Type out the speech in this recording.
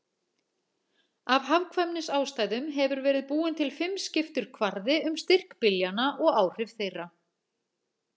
Af hagkvæmnisástæðum hefur verið búinn til fimmskiptur kvarði um styrk byljanna og áhrif þeirra.